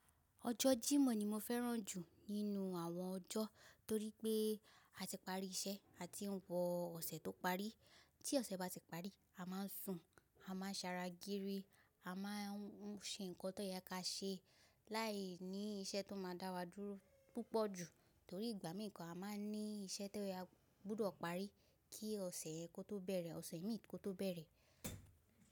Ọjọ́ Jímọ̀ ni mo fẹ́ran jù nínú àwọn ọjọ́, torí pé a ti pari iṣẹ́ àti ń wọ ọ̀sẹ̀ tó parí. Tí ọ̀sẹ̀ bá ti parí, a máa ń sùn, a máa ń ṣara giri, a máa ń ṣe ǹkan tó ya ka ṣe láì ní iṣẹ́ tó máa dá wa dúró púpọ̀ jù. Torí ìgbà mìí gan a máa ń ní iṣẹ́ tó ya gbúdọ̀ parí kí ọ̀sẹ̀ kó tó bẹ̀rẹ̀, ọ̀sẹ̀ mi kó tó bẹ̀rẹ̀.